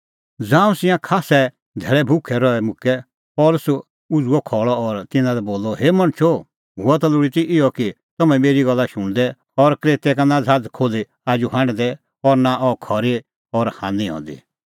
ज़ांऊं तिंयां खास्सै धैल़ै भुखै रही मुक्कै पल़सी उझ़ुअ खल़अ और तिन्नां लै बोलअ हे मणछो हुअ ता लोल़ी ती इहअ कि तम्हैं मेरी गल्ला शुणदै और क्रेतै का नां ज़हाज़ खोल्ही आजू हांढदै और नां अह खरी और हान्नी हंदी